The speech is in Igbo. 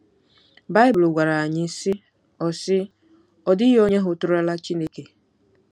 Baịbụl gwara anyị, sị: “Ọ sị: “Ọ dịghị onye hụtụrụla Chineke.